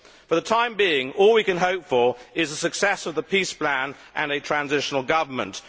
For the time being, all that we can hope for is the success of the peace plan and a transitional government.